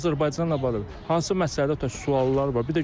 Məsələn Azərbaycanla bağlı hansı məsələdə tutaq ki, suallar var.